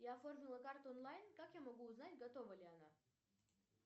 я оформила карту онлайн как я могу узнать готова ли она